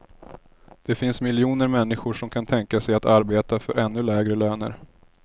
Det finns miljoner människor som kan tänka sig att arbeta för ännu lägre löner.